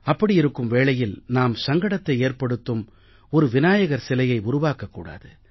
அப்படி இருக்கும் வேளையில் நாம் சங்கடத்தை ஏற்படுத்தும் ஒரு விநாயகர் சிலையை உருவாக்கக் கூடாது